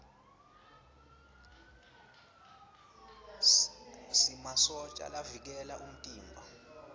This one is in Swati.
sinmasotja lavikela umtimba